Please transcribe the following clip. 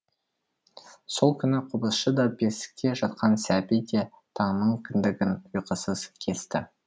сол күні қобызшы да бесікте жатқан сәби де таңның кіндігін ұйқысыз кесті